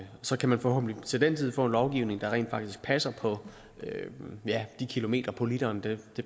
så kan man forhåbentlig til den tid få en lovgivning der rent faktisk passer på de kilometer på literen det